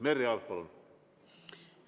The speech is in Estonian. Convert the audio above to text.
Merry Aart, palun!